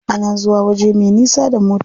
Ana zuwa waje me nisa da mota.